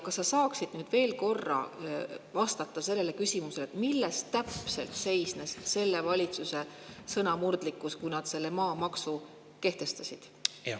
Kas sa saaksid nüüd veel korra vastata küsimusele, milles täpselt seisnes selle valitsuse sõnamurdlikkus, kui nad selle maamaksu kehtestasid?